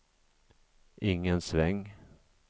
ingen sväng